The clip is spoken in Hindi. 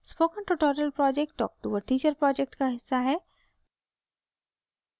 spoken tutorial project talk to a teacher project का हिस्सा है